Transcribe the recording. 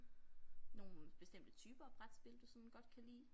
Nogle bestemte typer af brætspil du sådan godt kan lide